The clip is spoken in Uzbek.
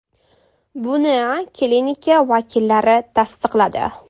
Buni klinika vakillari tasdiqladi.